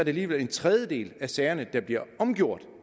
alligevel en tredjedel af sagerne der bliver omgjort